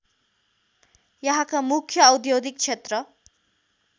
यहाँका मुख्य औद्योगिक क्षेत्र